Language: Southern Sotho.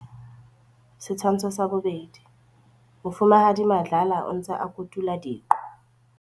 Setshwantsho sa 2. Mofumahadi Madlala o ntse a kotula diqo.